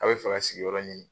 A' be fɛ ka sigiyɔrɔ ɲini.